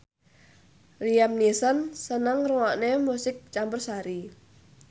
Liam Neeson seneng ngrungokne musik campursari